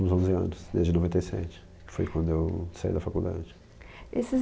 nos últimos onze anos, desde noventa e sete que foi quando eu saí da faculdade.